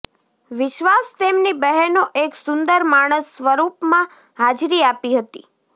વિશ્વાસ તેમની બહેનો એક સુંદર માણસ સ્વરૂપમાં હાજરી આપી હતી